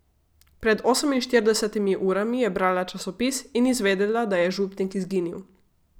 Pred oseminštiridesetimi urami je brala časopis in izvedela, da je župnik izginil.